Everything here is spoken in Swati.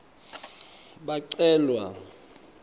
bacelwa